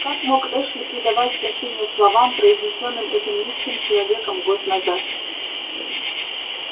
как мог эшли придавать значение словам произнесённым этим низким человеком год назад